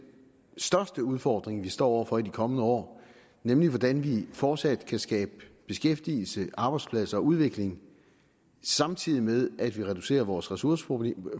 største udfordring vi står over for i de kommende år nemlig hvordan vi fortsat kan skabe beskæftigelse arbejdspladser og udvikling samtidig med at vi reducerer vores ressourceforbrug